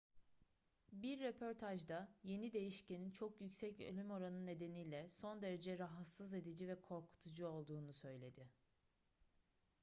bir röportajda yeni değişkenin çok yüksek ölüm oranı nedeniyle son derece rahatsız edici ve korkutucu olduğunu söyledi